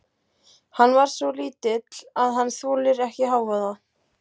Hann er svo lítill að hann þolir ekki hávaða.